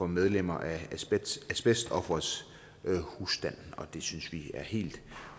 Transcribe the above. medlemmer af asbestofferets husstand og det synes vi er helt